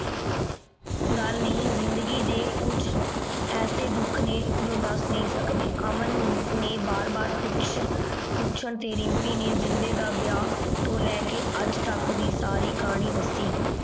ਗਲ ਨਹੀ ਜ਼ਿੰਦਗੀ ਦੇ ਕੁਛ ਐਸੀ ਦੁਖ ਨੇ ਜੋ ਦਸ ਨਹੀ ਸਕਦੇ। ਅਮਨ ਨੇ ਬਾਰ ਬਾਰ ਪੁੱਛ ਪੁੱਛਣ ਤੇ ਰਿਮਪੀ ਨੇ ਜਿੰਦੇ ਦਾ ਵਿਆਹ ਤੋਂ ਲੇ ਕੇ ਅਜ ਤਕ ਦੀ ਸਾਰੀ ਕਹਾਨੀ ਦੱਸੀ।